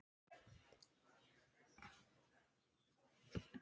Þú ættir að telja það.